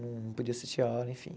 Não podia assistir a aula, enfim.